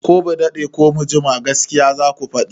Ko ba daɗe ko ba jima gaskiya zaku faɗi!